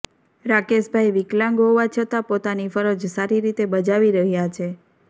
રાકેશભાઇ વિકલાંગ હોવા છતાં પોતાની ફરજ સારી રીતે બજાવી રહ્યા છે